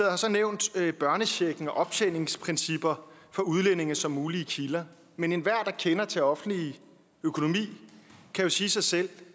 har så nævnt børnechecken og optjeningsprincipper for udlændinge som mulige kilder men enhver der kender til offentlig økonomi kan jo sige sig selv